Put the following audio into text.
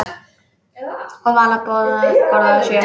Og Vala borðaði sjö.